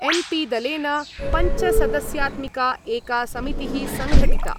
N P दलेन पञ्चसदस्यात्मिका एका समितिः संघटिता।